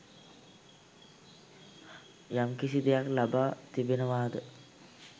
යම්කිසි දෙයක් ලබා තිබෙනවාද